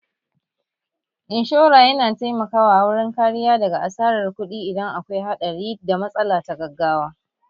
Inshora yana taimaka wa wurin kariya daga asarar kuɗi idan akwai haɗari da matsala ta gaggawa